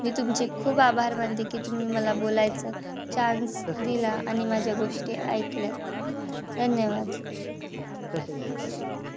मी तुमचे खूप आभार मानते. कि तुम्ही मला बोलायचा chance दिला. आणि माझ्या गोष्टी ऐकल्या. धन्यवाद!